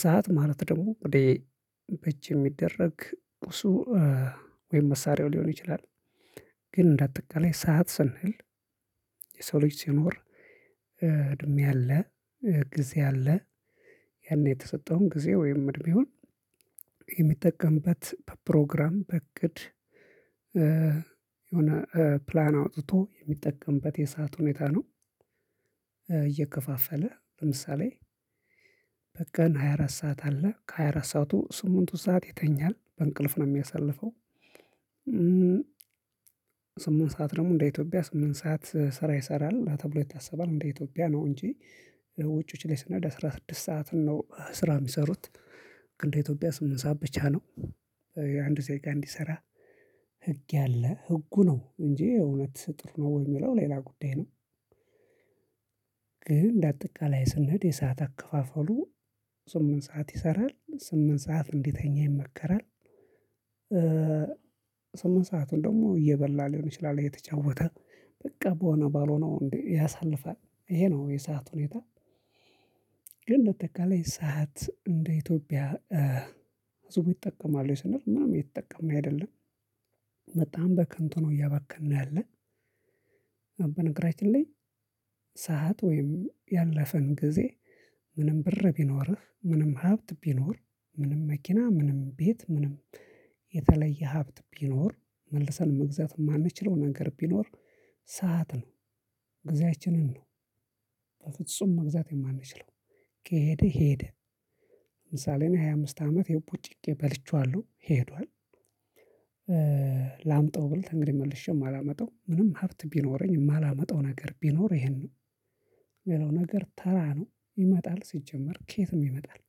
ሰዓት ማለት ደግሞ ወዴ እጅ እሚደረግ ቁሱ ወይም መሳሪያው ሊሆን ይችላል። ግን እንደ አጠቃላይ ሰዓት ስንል። የሰው ልጅ ሲኖር። እድሜ አለ። ጊዜ አለ። ያን የተሰጠውን ጊዜ ወይም እድሜውን። የሚጠቀምበት በፕሮግራም በእቅድ የሆነ ፕላን አውጥቶ የሚጠቀምበት የሰዓት ሁኔታ ነው። እየከፋፈለ በምሳሌ በቀን ሃያ አራት ሰዓት አለ ከሃያ አራት ሰዓቱ ስምንቱ ሰዓት ይተኛል በእንቅልፍ ነው ሚያሳልፈው። ስምንት ሰዓት ደግሞ እንደ ኢትዮጵያ ስምንት ሰዓት ስራ ይሰራል ተብሎ ይታሰባል። እንደ ኢትዮጵያ ነው እንጂ ውጪዎች ላይ ስንሄድ አስራ ስድስት ሰዓትን ነው ስራ ሚሰሩት። ግን ደኢትዮጵያ ስምንት ሰዓት ብቻ ነው። አንድ ዜጋ እንዲሰራ ህግ ያለ ህጉ ነው እንጂ የእውነት ጥሩ ነው ወይ ሚለው ሌላ ጉዳይ ነው። ግን እንደ አጠቃላይ ስንሄድ የሰዓት አከፋፈሉ ስምንት ሰዓት ይሰራል ስምንት ሰዓት እንዲተኛ ይመከራል። ስምንት ሰአቱን ደግሞ እየበላ ሊሆን ይችላል እየተጫወተ በቃ በሆነ ባልሆነው እንዴ ያሳልፋል። ይሄ ነው የሰዓት ሁኔታ። ግን እንደ አጠቃላይ ሰዓት እንደ ኢትዮጵያ ህብዙ ይጠቀመዋል ወይ ስንል ምንም እየተጠቀምን አይደለም። በጣም በከንቱ ነው እያባከን ያለን። አ በነገራችን ላይ። ሰዓት ወይም ያለፈን ጊዜ። ምንም ብር ቢኖርህ ምንም ሀብት ቢኖር ምንም መኪና ምንም ቤት ምንም የተለየ ሀብት ቢኖር መልሰን መግዛት እማንችለው ነገር ቢኖር ሰዓት ነው። ጊዜያችንን ነው በፍጹም መግዛት የማንችለው ከሄደ ሄደ። ለምሳሌ እኔ ሃያ አምስት አመቴ ቦጭቄ በልቼዋለሁ ሄዷል። ላምጣው ብል እንግዲህ መልሼም አላመጣው ምንም ሀብት ቢኖረኝ እማላመጣው ነገር ቢኖር ይሄን ነው። ሌላው ነገር ተራ ነው ይመጣል ሲጀመር ከየትም ይመጣል።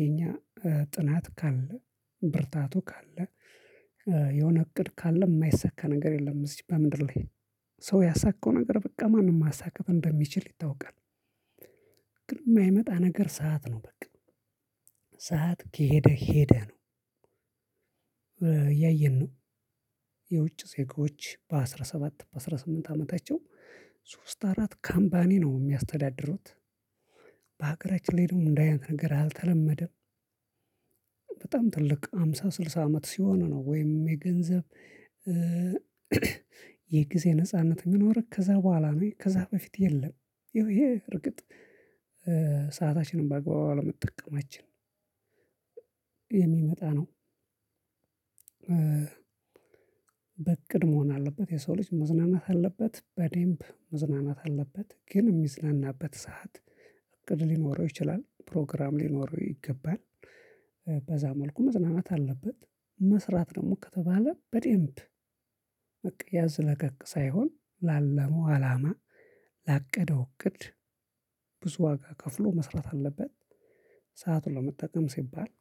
የኛ ጥናት ካለ ብርታቱ ካለ። የሆነ እቅድ ካለ ማይሳካ ነገር የለም። እዚች በምድር ላይ ሰው ያሳካው ነገር በቃ ማንም ማሳካት እንደሚችል ይታወቃል። ግን ማይመጣ ነገር ሰዓት ነው በቃ። ሰዓት ከሄደ ሄደ ነው። እያየን ነው የውጭ ዜጎች በአስራ ሰባት በአስራ ስምንት አመታቸው ሶስት አራት ካምፓኒ ነው ሚያስተዳድሩት። በሀገራችን ላይ ደግሞ እንዲህ አይነት ነገር አልተለመደም። በጣም ትልቅ ሃምሳ ስልሳ አመት ሲሆን ነው ወይም የገንዘብ የጊዜ ነጻነት እሚኖርህ ከዛ በኋላ ነው ከዛ በፊት የለም። ይኸው ይሄ እርግጥ ሰአታችንን በአግባቡ አለመጠቀማችን የሚመጣ ነው። በእቅድ መሆን አለበት የሰው ልጅ መዝናናት አለበት በዴምብ መዝናናት አለበት ግን ሚዝናናበት ሰዓት እቅድ ሊኖረው ይችላል ፕሮግራም ሊኖረው ይገባል። በዛ መልኩ መዝናናት አለበት። መስራት ደግሞ ከተባለ በዴምብ በቃ ያዝ ለቀቅ ሳይሆን ላለመው አላማ ላቀደው እቅድ ብዙ ዋጋ ከፍሎ መስራት አለበት። ሰአቱን ለመጠቀም ሲባል